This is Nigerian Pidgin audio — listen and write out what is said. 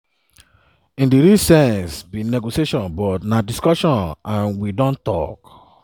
“in di real sense no be negotiation but na discussion and we don tok.